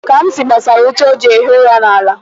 Kamsi gbasara ute o ji ehi ụra n'ala.